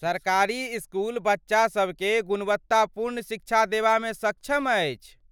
सरकारी इसकुल बच्चा सभके गुणवत्तापूर्ण शिक्षा देबामे सक्षम अछि।